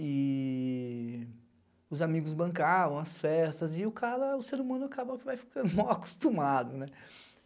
E os amigos bancavam as festas e o cara, o ser humano, acaba que vai ficando mal acostumado.